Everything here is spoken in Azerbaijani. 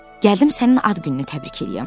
Gəldim sənin ad gününü təbrik eləyəm.